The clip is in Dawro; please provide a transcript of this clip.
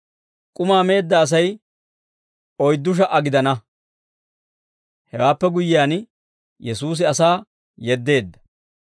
K'umaa meedda Asay oyddu sha"a gidana; hewaappe guyyiyaan, Yesuusi asaa yeddeedda.